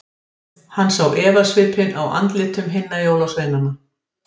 Hann sá efasvipinn á andlitum hinna jólasveinana.